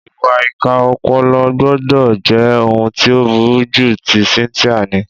Ìwà ìkà ọpọlọ gbọ́dọ̀ jẹ́ ohun tí ó burú jù tí Cynthia ní.